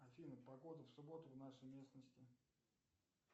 афина погода в субботу в нашей местности